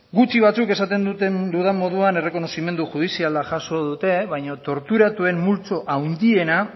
gutxi batzuk esaten dudan moduan errekonozimendu judiziala jaso dute baina torturatuen multzo handiena